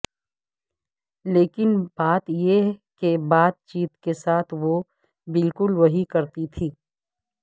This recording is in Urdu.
لیکن بات یہ کہ بات چیت کے ساتھ وہ بالکل وہی کرتی تھی